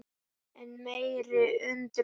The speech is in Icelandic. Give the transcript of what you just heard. Enn meiri undrun